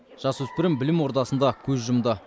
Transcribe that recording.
жасөспірім білім ордасында көз жұмды